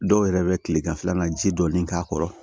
Dɔw yɛrɛ bɛ kileganfɛlan na ji dɔɔni k'a kɔrɔ